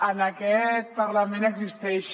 en aquest parlament existeix